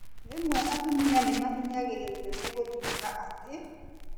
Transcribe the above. Rĩmwe atumia nĩmahinyagĩrĩrio nĩ gũtuĩka atĩ